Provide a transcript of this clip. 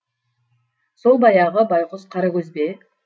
сол баяғы байғұс қарагөз бе